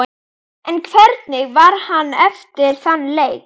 En hvernig var hann eftir þann leik?